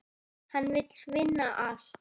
Hann vill vinna allt.